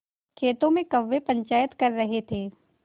खेतों में कौए पंचायत कर रहे थे